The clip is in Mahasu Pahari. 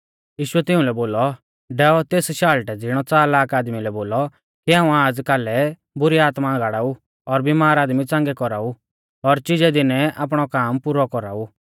यीशुऐ तिउंलै बोलौ डैऔ तेस शाल़टै ज़िणै च़लाक आदमी लै बोलौ कि हाऊं आज़ और कालै बुरी आत्मा गाड़ाऊ और बिमार आदमी च़ांगै कौराऊ और चिजै दीनै आपणौ काम पुरौ कौराऊ